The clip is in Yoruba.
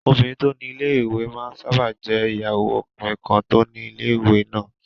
Obìnrin tó ni ilé-ìwé máa n sáábà jẹ́ ìyàwó ọkùnrin kan tó ni ilé-ìwé náà